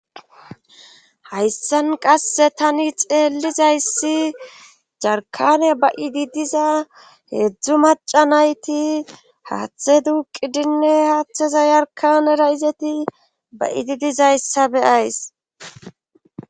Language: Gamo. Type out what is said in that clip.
Hayssan qasse tani xeellizayssi jarkane ba7idi diza heedzdzu maca nayti haaththe duuqi dinne haaththeza yarkanera izeti ba idi dizayssa beyays